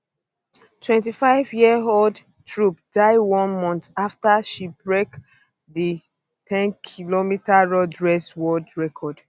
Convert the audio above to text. twenty fiveyearold tirop die one um month afta she break um di 10km road race world record